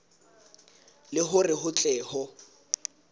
le hore ho tle ho